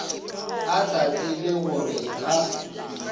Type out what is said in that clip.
a sa tsebe gore ka